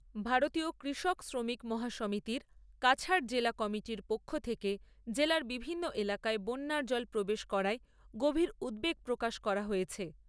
ভারতীয় কৃষক শ্রমিক মহাসমিতির কাছাড় জেলা কমিটির পক্ষ থেকে জেলার বিভিন্ন এলাকায় বন্যার জল প্রবেশ করায় গভীর উদ্বেগ প্রকাশ করা হয়েছে।